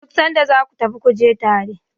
duk sanda za ka tafi ku je tare!